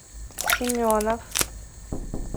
семенов